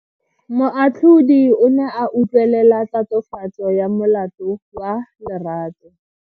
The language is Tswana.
Moatlhodi o ne a utlwelela tatofatso ya molato wa Lerato.